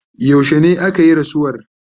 yaushene akayi rasuwar?